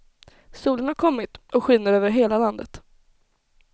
Solen har kommit och skiner över hela landet.